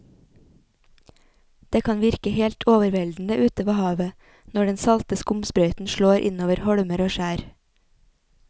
Det kan virke helt overveldende ute ved havet når den salte skumsprøyten slår innover holmer og skjær.